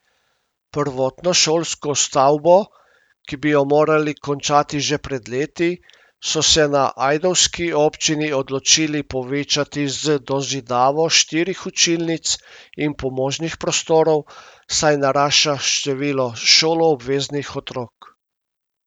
Prvotno šolsko stavbo, ki bi jo morali končati že pred leti, so se na ajdovski občini odločili povečati z dozidavo štirih učilnic in pomožnih prostorov, saj narašča število šoloobveznih otrok.